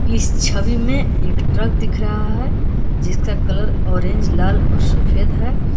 इस छवि में एक ट्रक दिख रहा है जिसका कलर ऑरेंज लाल और सफेद है।